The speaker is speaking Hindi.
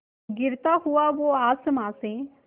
गिरता हुआ वो आसमां से